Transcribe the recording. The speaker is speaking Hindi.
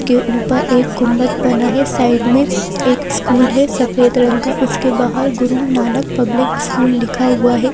एक के ऊपर एक गुंबद बना है साइड में एक स्कूल है सफेद रंग का उसके बाहर गुरु नानक पब्लिक स्कूल लिखा हुआ है।